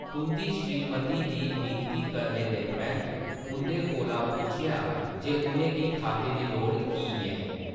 तुंʼदी श्रीमती दी विनती करने दे परैंत्त, उंʼदे कोला पुच्छेआ जे उʼनें गी खाते दी लोड़ कीऽ ऐ।